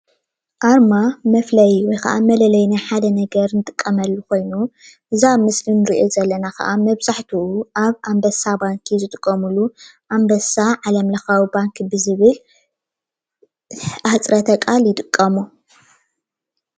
አርማ መፍለይ ወይክዓ መለለይ ናይ ሓደ ነገር እንጥቀመሉ ኮይኑ እዚ አብ ምስሊ ንርእዮ ዘለና ክዓ መብዛሕትኡ አብ አንበሳ ባንኪ ዝጥቀሙሉ አንበሳ ዓለምለካዊ ባንኪ ብዝብል አሕፅረተ ቃል ይጥቀሙ።